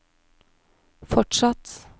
fortsatt